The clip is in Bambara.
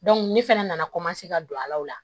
ne fɛnɛ nana ka don a la o la